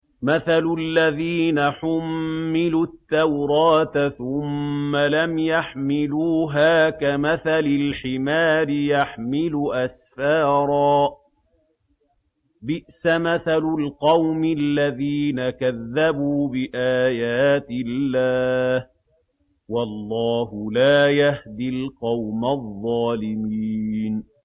مَثَلُ الَّذِينَ حُمِّلُوا التَّوْرَاةَ ثُمَّ لَمْ يَحْمِلُوهَا كَمَثَلِ الْحِمَارِ يَحْمِلُ أَسْفَارًا ۚ بِئْسَ مَثَلُ الْقَوْمِ الَّذِينَ كَذَّبُوا بِآيَاتِ اللَّهِ ۚ وَاللَّهُ لَا يَهْدِي الْقَوْمَ الظَّالِمِينَ